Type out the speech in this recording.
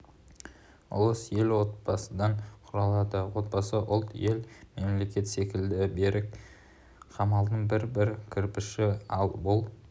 ұлыс ел отбасыдан құралады отбасы ұлт ел мемлекет секілді берік қамалдың бір-бір кірпіші ал бұл